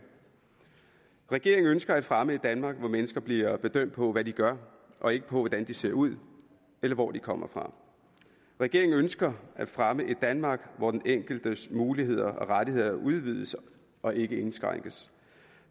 regeringen ønsker at fremme et danmark hvor mennesker bliver bedømt på hvad de gør og ikke på hvordan de ser ud eller hvor de kommer fra regeringen ønsker at fremme et danmark hvor den enkeltes muligheder og rettigheder udvides og ikke indskrænkes